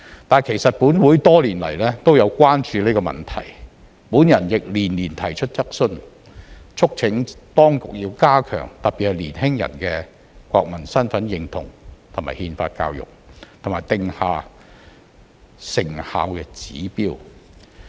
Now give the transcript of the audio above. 但是，其實本會多年來也有關注這問題，我亦連年提出質詢，促請當局要加強特別是年輕人的國民身份認同和憲法教育，以及定下成效指標。